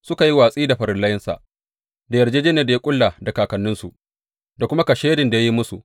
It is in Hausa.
Suka yi watsi da farillansa da yarjejjeniyar da ya ƙulla da kakanninsu, da kuma kashedin da ya yi musu.